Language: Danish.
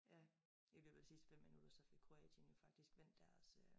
Ja i løbet af de sidste 5 minutter så fik Kroatien jo faktisk vendt deres øh